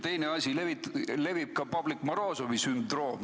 Teine asi, levib ka Pavlik Morozovi sündroom.